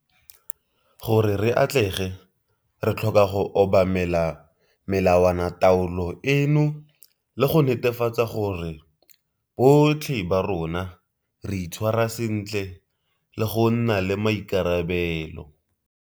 Gore re atlege re tlhoka go obamela melawanataolo eno le go netefatsa gore botlhe ba rona re itshwara sentle le go nna le maikarabelo.